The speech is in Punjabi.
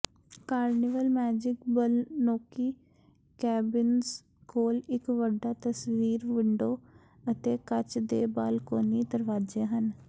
ਕਾਰਨੀਵਲ ਮੈਜਿਕ ਬਾਲਕੋਨੀ ਕੈਬਿਨਜ਼ ਕੋਲ ਇਕ ਵੱਡਾ ਤਸਵੀਰ ਵਿੰਡੋ ਅਤੇ ਕੱਚ ਦੇ ਬਾਲਕੋਨੀ ਦਰਵਾਜ਼ੇ ਹਨ